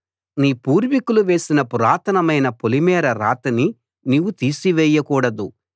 నీ పూర్వీకులు వేసిన పురాతనమైన పొలిమేర రాతిని నీవు తీసివేయకూడదు